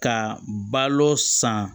Ka balo san